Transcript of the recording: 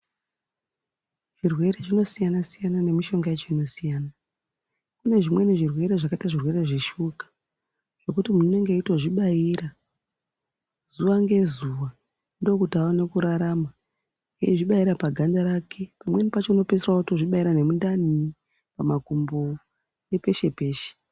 Zvirwere zvinosiyana-siyana nemishonga yacho inosiyana. Kune zvimweni zvirwere zvakaita zvirwere zveshuka zvekuti muntu unenge eitozvibaira zuva ngezuva. Ndokuti aone kurarama ezvibaira pagandarake pamweni pacho unopedzisira vato zvibaira nemundani, pamakumbo nepeshe-peshe.